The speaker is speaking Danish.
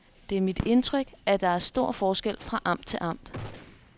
Det er mit indtryk, at der er stor forskel fra amt til amt.